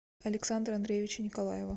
александра андреевича николаева